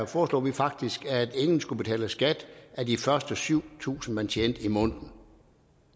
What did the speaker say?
foreslog vi faktisk at ingen skulle betale skat af de første syv tusind kr man tjente i måneden